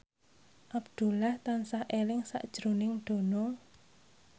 Abdullah tansah eling sakjroning Dono